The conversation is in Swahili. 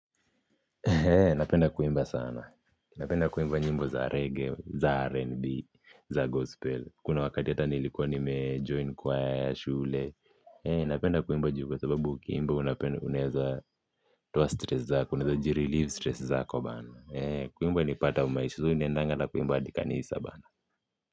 Napenda kuimba sana, napenda kuimba nyimbo za reggae, za rnb, za gospel, kuna wakati hata nilikuwa nimejoin kwaya ya shule, napenda kuimba juu kwa sababu ukiimbs unaeza toa stress zako, unaeza jireleave stress zako bana, kuimba ni part ya maishi, so naendanga na kuimba hadi kanisa bana.